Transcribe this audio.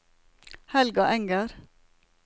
Helga Enger